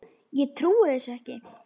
Ég trúi þessu ekki!